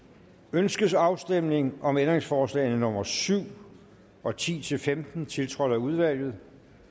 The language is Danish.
ønskes afstemning om ændringsforslagene nummer syv og ti til femten tiltrådt af udvalget